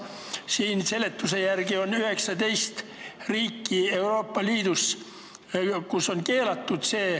Seletuse järgi on Euroopa Liidus 19 riiki, kus see on keelatud.